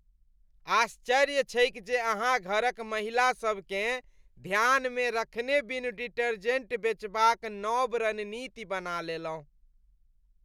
आश्चर्य छैक जे अहाँ घरक महिलासबकेँ ध्यानमे रखने बिनु डिटर्जेंट बेचबाक नब रणनीति बना लेलहुँ।